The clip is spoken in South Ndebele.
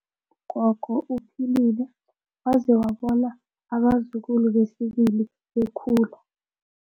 Ugogo uphilile waze wabona abazukulu besibili bekhula.